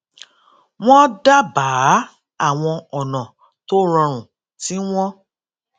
wón dábàá àwọn ònà tó rọrùn tí wón